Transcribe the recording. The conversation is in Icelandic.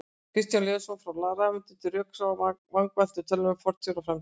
Kristján Leósson, Frá rafeindum til rökrása: Vangaveltur um tölvutækni fortíðar og framtíðar